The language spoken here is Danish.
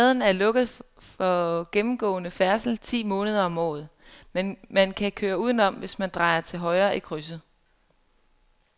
Gaden er lukket for gennemgående færdsel ti måneder om året, men man kan køre udenom, hvis man drejer til højre i krydset.